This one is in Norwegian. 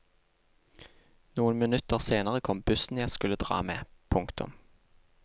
Noen minutter senere kom bussen jeg skulle dra med. punktum